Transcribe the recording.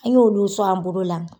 An y'olu sɔn an bolo la.